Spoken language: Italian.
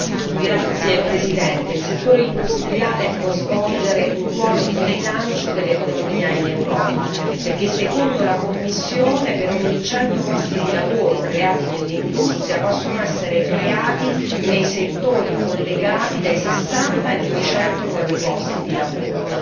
Signor Presidente, onorevoli colleghi, il settore industriale può svolgere un ruolo di rilancio dell'economia in Europa, poiché secondo la Commissione per ogni 100 posti di lavoro creati nell'industria possono essere creati nei settori collegati dai 60 ai 200 nuovi posti di lavoro.